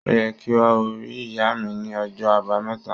Ó yẹ kí o rí ìyá mi ní ọjọ́ Àbáméta.